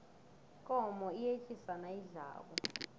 ikomo iyetjisa nayidlako